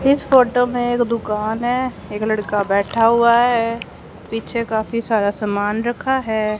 इस फोटो में एक दुकान है एक लड़का बैठा हुआ है पीछे काफी सारा समान रखा है।